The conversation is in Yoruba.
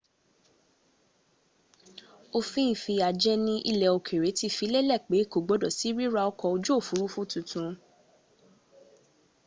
òfin ìfìyàjẹni ilẹ̀ òkèrè ti fi lélẹ̀ pẹ kò gbọdọ̀ sí ríra ọkọ̀ ojú òfurufú tuntun